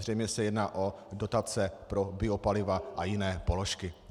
Zřejmě se jedná o dotace pro biopaliva a jiné položky.